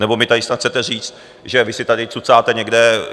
Nebo mi tady snad chcete říct, že - vy si tady cucáte někde...